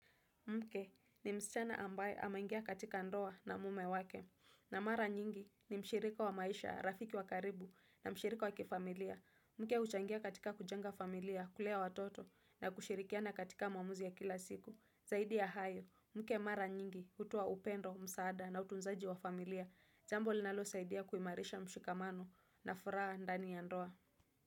Mke ni msichana ambaye ameingia katika ndoa na mume wake na mara nyingi ni mshirika wa maisha, rafiki wa karibu na mshirika wa kifamilia. Mke huchangia katika kujenga familia, kulea watoto na kushirikiana katika mamuzi ya kila siku. Zaidi ya hayo, mke mara nyingi hutoa upendo, msaada na utunzaji wa familia. Jambo linalosaidia kuimarisha mshukamano na furaha ndani ya ndoa.